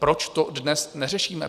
Proč to dnes neřešíme?